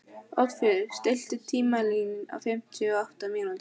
Oddfríður, stilltu tímamælinn á fimmtíu og átta mínútur.